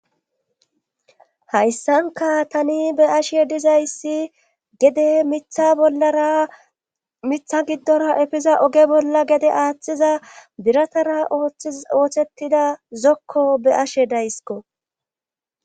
Hayssanka tani be ashe dizayssi gede mitha bollara mitha giddora efiza oge bolla gede aaththiza biratara othti oothettida zokko be ashe daysko